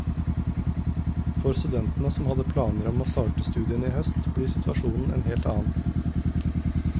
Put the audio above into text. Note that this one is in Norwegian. For studentene som hadde planer om å starte studiene i høst, blir situasjonen en helt annen.